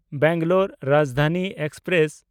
Bangalore Rajdhani express